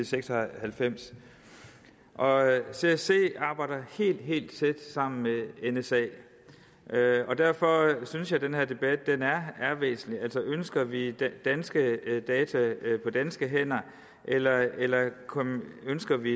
seks og halvfems og csc arbejder helt helt tæt sammen med nsa derfor synes jeg at den her debat er væsentlig altså ønsker vi danske data på danske hænder eller eller ønsker vi